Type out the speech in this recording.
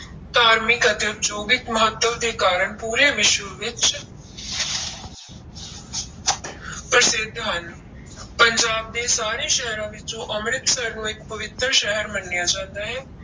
ਧਾਰਮਿਕ ਅਤੇ ਉਦਯੋਗਿਕ ਮਹੱਤਵ ਦੇ ਕਾਰਨ ਪੂਰੇ ਵਿਸ਼ਵ ਵਿੱਚ ਪ੍ਰਸਿੱਧ ਹਨ ਪੰਜਾਬ ਦੇ ਸਾਰੇ ਸ਼ਹਿਰਾਂ ਵਿੱਚੋਂ ਅੰਮ੍ਰਿਤਸਰ ਨੂੰ ਇੱਕ ਪਵਿੱਤਰ ਸ਼ਹਿਰ ਮੰਨਿਆ ਜਾਂਦਾ ਹੈ,